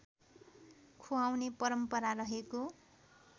खुवाउने परम्परा रहेको